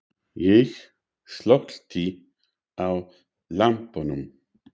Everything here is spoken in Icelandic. Ég slökkti á lampanum.